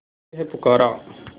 तुझे है पुकारा